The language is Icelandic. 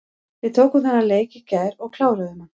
Við tókum þennan leik í gær og kláruðum hann.